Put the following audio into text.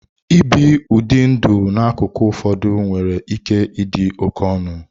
Ibi ụdị ndụ n'akụkụ ụfọdụ nwere ike ịdị oke ọnụ.